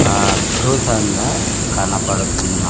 ఆద్భుతంగా కనబడుతున్న --